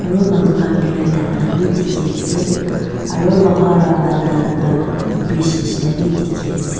aru manu khan barai laga vi dekhi ase aru lotha para bana laga bridge sekhina vi dekhi ase.